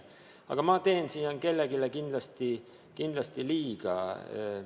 Aga ma teen siin kellelegi kindlasti liiga.